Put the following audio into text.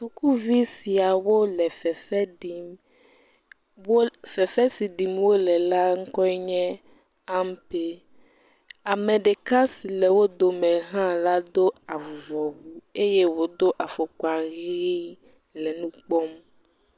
Sukuvi siawo le fefe ɖim fefe si ɖim wole la ŋkɔ enye ampe ame ɖeka si le wodome ha la do avuvɔwu eye wòdo afɔkpa ɣi le wokpɔm